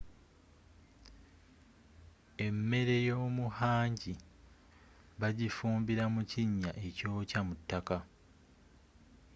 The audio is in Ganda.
emmere yomu hangi bagifumbira mu kinya ekyokya mu taka